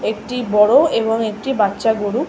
একটি বড়ো এবং একটি বাচ্চা গরু।